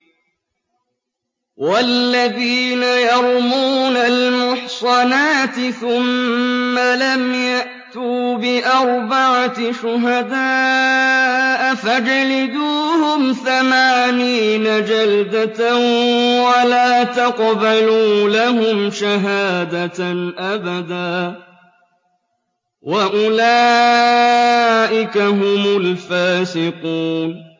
وَالَّذِينَ يَرْمُونَ الْمُحْصَنَاتِ ثُمَّ لَمْ يَأْتُوا بِأَرْبَعَةِ شُهَدَاءَ فَاجْلِدُوهُمْ ثَمَانِينَ جَلْدَةً وَلَا تَقْبَلُوا لَهُمْ شَهَادَةً أَبَدًا ۚ وَأُولَٰئِكَ هُمُ الْفَاسِقُونَ